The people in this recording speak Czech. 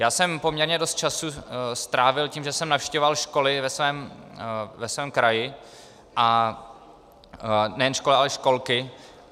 Já jsem poměrně dost času strávil tím, že jsem navštěvoval školy ve svém kraji, nejen školy, ale i školky.